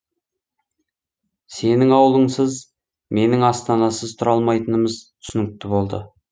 сенің ауылыңсыз менің астанасыз тұра алмайтынымыз түсінікті болды